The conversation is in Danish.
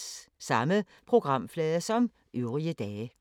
Samme programflade som øvrige dage